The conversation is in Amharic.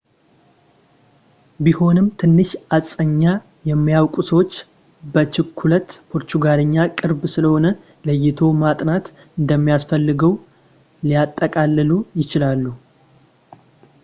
ቢሆንም ትንሽ እስጳኛ የሚያውቁ ሰዎች በችኩለት ፖርቹጋልኛ ቅርብ ስለሆነ ለይቶ ማጥናት እንደማያስፈልገው ሊያጠቃልሉ ይችላሉ